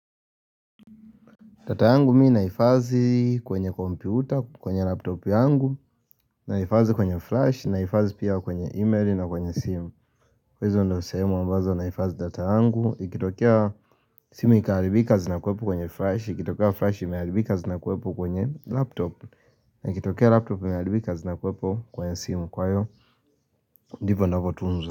Data yangu mi naifazi kwenye kompyuta, kwenye laptop yangu, naifazi kwenye flash, naifazi pia kwenye email na kwenye simu hizo ndio sehemu ambazo naifazi data yangu, ikitokea simu ikiharibika zinakuwepo kwenye flash, ikitokia flash imeharibika zinakuwepo kwenye laptop na ikitokea laptop imeharibika zinakuwepo kwenye simu kwa hiyo, ndivo ninavotunzo.